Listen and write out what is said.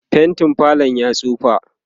faintin falo yayi tsufa